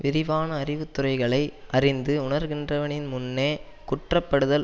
விரிவான அறிவுத்துறைகளை அறிந்து உணர்கின்றவனின் முன்னே குற்றப்படுதல்